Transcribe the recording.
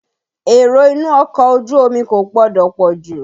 Èrò inú ọkọ̀ ojú omi kò gbọdọ̀ pọ̀ jù.